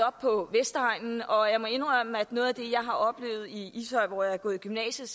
op på vestegnen og jeg må indrømme at noget af det jeg har oplevet i ishøj hvor jeg har gået i gymnasiet